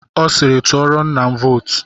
Ọ siiri, tụọrọ nna m vootu.